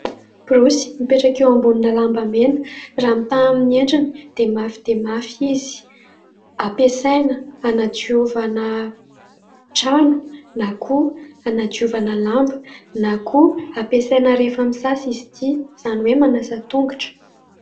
Borosy mipetraka eo ambony lamba mena. Raha mitaha amin'ny endriny dia mafy dia mafy izy. Ampiasaina hanadiovana trano na koa hanadiovana lamba na koa ampiasaina rehefa misasa izy ity, izany hoe manasa tongotra.